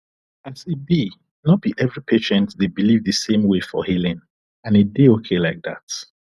as e be no be every patient dey believe the same way for healing and e dey okay like that